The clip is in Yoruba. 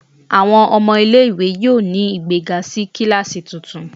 Awọn ọmọ ile-iwe yoo ni igbega si kilasi tuntun